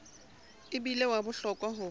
e bile wa bohlokwa ho